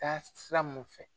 Taasira mun fɛ.